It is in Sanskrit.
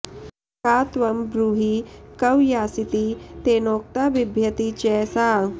का त्वं ब्रूहि क्व यासीति तेनोक्ता बिभ्यती च सा